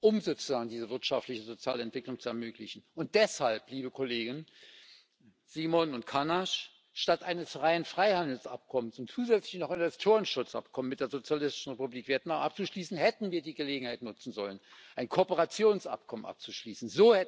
um diese wirtschaftliche Sozialentwicklung zu ermöglichen. Deshalb, liebe Kollegen Simon und Cañas Anstatt ein reines Freihandelsabkommen und zusätzlich noch ein Investitionsschutzabkommen mit der Sozialistischen Republik Vietnam abzuschließen, hätten wir die Gelegenheit nutzen sollen, ein Kooperationsabkommen abzuschließen.